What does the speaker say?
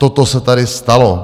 Toto se tady stalo.